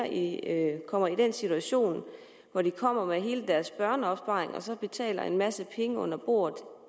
ikke kommer i den situation hvor de kommer med hele deres børneopsparing og betaler en masse penge under bordet